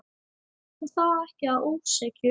Og það ekki að ósekju.